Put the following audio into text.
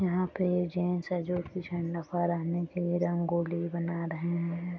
यहाँ पे ये जेंट्स है जो की झंडा फहराने के लिए रंगोली बना रहे है।